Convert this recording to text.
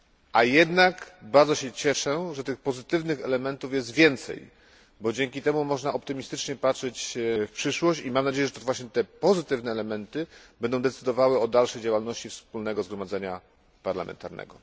A jednak bardzo się cieszę, że pozytywnych elementów jest więcej, bo dzięki temu można optymistycznie patrzeć w przyszłość i mam nadzieję, że to właśnie te pozytywne elementy będą decydowały o dalszej działalności Wspólnego Zgromadzenia Parlamentarnego.